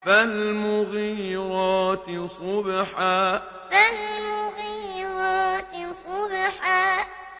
فَالْمُغِيرَاتِ صُبْحًا فَالْمُغِيرَاتِ صُبْحًا